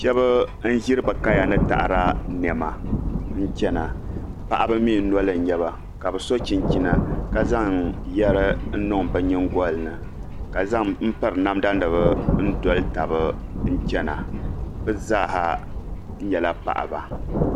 Shab n ʒiri bi kaya ni taada niɛma n chɛna paɣaba mii noli n nyɛba ka bi so chinchina ka zaŋ yɛri niŋ bi nyingoli ni ka piri namda nim n doli tabi n chɛna bi zaaha nyɛla paɣaba